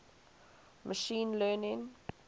machine learning